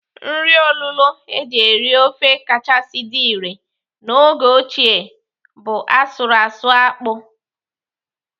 Nri olulo eji eri ofe kachasị dị irè n'oge ochie bụ asụrụ asụ akpụ.